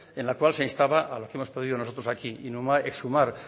en la cual se instaba a lo que hemos pedido nosotros aquí exhumar